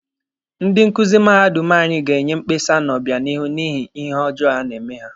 Ndị nkuzi mahadum anyị ga-enye mkpesa n'obịanihu n'ihi ihe ọjọọ a na-eme ha.